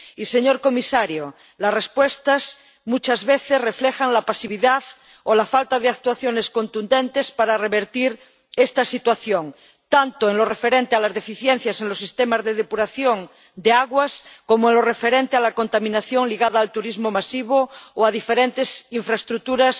Y, señor comisario, las respuestas muchas veces reflejan la pasividad o la falta de actuaciones contundentes para revertir esta situación, tanto en lo referente a las deficiencias en los sistemas de depuración de aguas como en lo referente a la contaminación ligada al turismo masivo o a diferentes infraestructuras